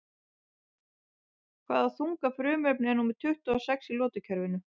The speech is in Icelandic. Hvaða þunga frumefni er númer tuttugu og sex í lotukerfinu?